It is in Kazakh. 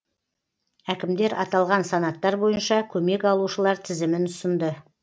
әкімдер аталған санаттар бойынша көмек алушылар тізімін ұсынды